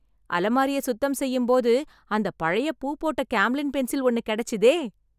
அலமாரிய சுத்தம் செய்யும்போது அந்தப் பழைய பூ போட்ட கேம்லின் பென்சில் ஒன்னு கிடைச்சசுதே!